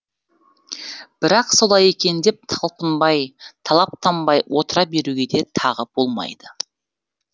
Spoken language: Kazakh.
бірақ солай екен деп талпынбай талаптанбай отыра беруге де тағы болмайды